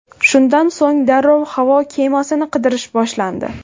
Shundan so‘ng darrov havo kemasini qidirish boshlandi.